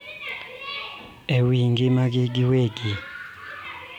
E wi ngimagi giwegi.